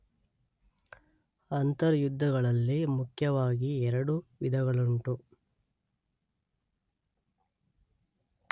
ಅಂತರ್ಯುದ್ಧಗಳಲ್ಲಿ ಮುಖ್ಯವಾಗಿ ಎರಡು ವಿಧಗಳುಂಟು.